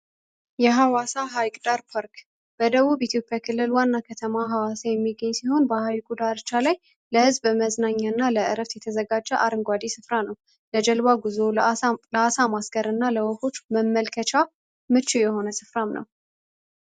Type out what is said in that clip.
የሃዋሳ ሐይቅ ዳር ፓርክ በደቡብ ኢትዮጵያ ክልል ዋና ከተማ ሀዋሳ የሚገኝ ሲሆን ለዝብ በመዝናኛና ለእረፍት የተዘጋጀው አረንጓዴ ስፍራ ነው ጉዞ ለአሳማ ለወፎች መመልከቻ መቼ የሆነ ስፍራ ነው።